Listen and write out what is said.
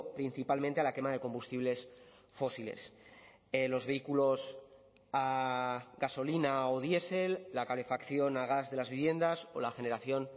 principalmente a la quema de combustibles fósiles los vehículos a gasolina o diesel la calefacción a gas de las viviendas o la generación